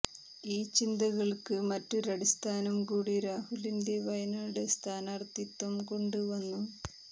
ഈ ചിന്തകള്ക്ക് മറ്റൊരു അടിസ്ഥാനം കൂടി രാഹുലിന്റെ വയനാട് സ്ഥാനാര്ഥിത്വംകൊണ്ട് വന്നു